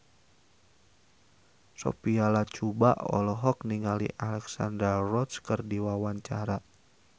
Sophia Latjuba olohok ningali Alexandra Roach keur diwawancara